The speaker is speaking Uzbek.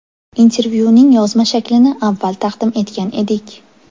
Intervyuning yozma shaklini avval taqdim etgan edik.